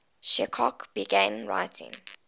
chekhov began writing